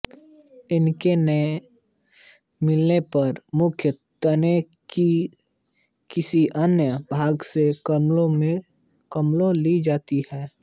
इनके न मिलने पर मुख्य तने के किसी अन्य भाग से कलमें ली जाती हैं